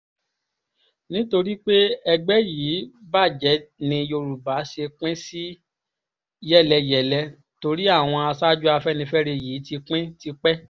nítorí pé ẹgbẹ́ yìí bàjẹ́ ni yorùbá ṣe pín sí yẹ́lẹyẹ̀lẹ torí àwọn aṣáájú afẹ́nifẹ́re yìí ti pín tipẹ́